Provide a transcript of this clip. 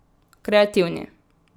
Kreativni.